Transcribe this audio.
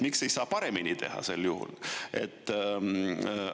Miks ei saa paremini teha sel juhul?